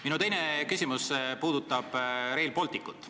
Minu teine küsimus puudutab Rail Balticut.